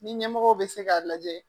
Ni ɲɛmɔgɔ bɛ se k'a lajɛ